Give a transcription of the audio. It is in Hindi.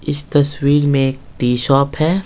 इस तस्वीर में एक टी शॉप है।